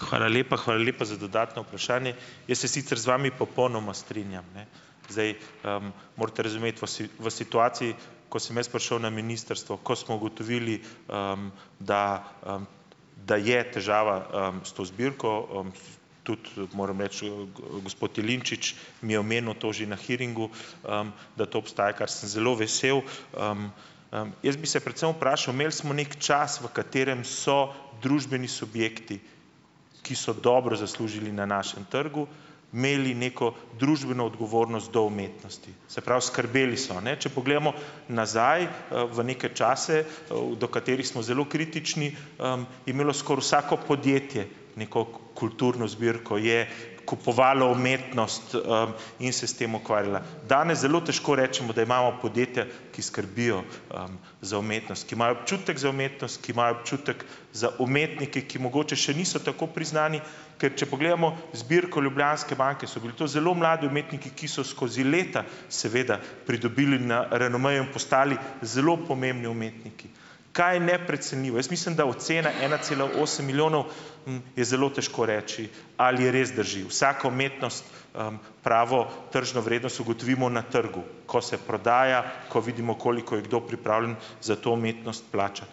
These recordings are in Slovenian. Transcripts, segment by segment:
Hvala lepa. Hvala lepa za dodatno vprašanje. Jaz se sicer z vami popolnoma strinjam, ne. Zdaj, morate razumeti, v v situaciji, ko sem jaz prišel na ministrstvo, ko smo ugotovili, da, da je težava, s to zbirko, tudi, moram reči, gospod Jelinčič mi je omenil to že na hearingu, da to obstaja, kar sem zelo vesel. jaz bi se predvsem vprašal, imeli smo neki čas, v katerem so družbeni subjekti, ki so dobro zaslužili na našem trgu, imeli neko družbeno odgovornost do umetnosti. Se pravi, skrbeli so, ne, če pogledamo nazaj, v neke čase, v do katerih smo zelo kritični, je imelo skoraj vsako podjetje neko kulturno zbirko, je kupovalo umetnost, in se s tem ukvarjalo. Danes zelo težko rečemo, da imamo podjetja, ki skrbijo, za umetnost, ki imajo občutek za umetnost, ki imajo občutek za umetnike, ki mogoče še niso tako priznani, ker če pogledamo zbirko Ljubljanske banke, so bili to zelo mladi umetniki, ki so skozi leta seveda pridobili na renomeju in postali zelo pomembni umetniki. Kaj neprecenljiv! Jaz mislim, da ocena ena cela osem milijona, je zelo težko reči, ali je res drži. Vsako umetnost, - pravo tržno vrednost ugotovimo na trgu, ko se prodaja, ko vidimo, koliko je kdo pripravljen za to umetnost plačati.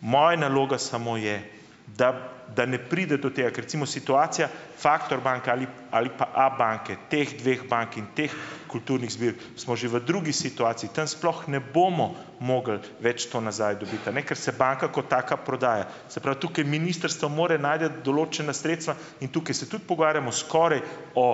Moja naloga samo je, da da ne pride do tega. Ker recimo situacija Factor banke ali ali pa Abanke, teh dveh bank in teh kulturnih zbirk, smo že v drugi situaciji, tam sploh ne bomo mogli več to nazaj dobiti, a ne, ker se banka kot taka prodaja. Se pravi, tukaj ministrstvo mora najti določena sredstva in tukaj se tudi pogovarjamo skoraj o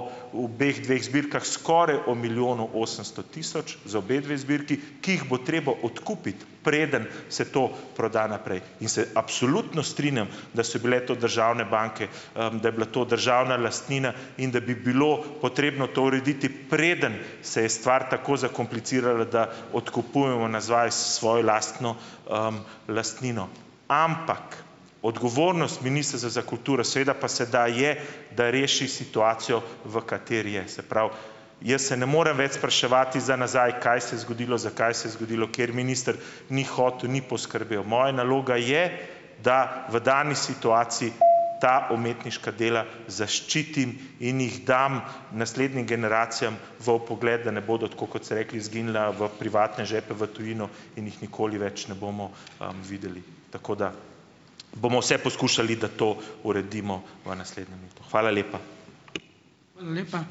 obeh dveh zbirkah, skoraj o milijonu osemsto tisoč za obedve zbirki, ki jih bo treba odkupiti, preden se to proda naprej. In se absolutno strinjam, da so bile to državne banke, da je bila to državna lastnina in da bi bilo potrebno to urediti, preden se je stvar tako zakomplicirala, da odkupujemo nazaj svojo lastno, lastnino. Ampak odgovornost Ministrstva za kulturo seveda pa sedaj je, da reši situacijo v kateri je, se pravi, jaz se ne morem več spraševati za nazaj, kaj se je zgodilo, zakaj se je zgodilo, ker minister ni hotel, ni poskrbel. Moja naloga je, da v dani situaciji ta umetniška dela zaščitim in jih dam naslednjim generacijam v vpogled, da ne bodo, tako kot ste rekli, izginila v privatne žepe v tujino in jih nikoli več ne bomo, ,videli. Tako da, bomo vse poskušali, da to uredimo v naslednjem letu. Hvala lepa.